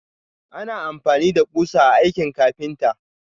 Ana amfani da ƙusa a aikin ƙafinta.